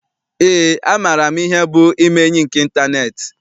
Eé, amaara m ihe bụ ime enyi nke ịntaneetị.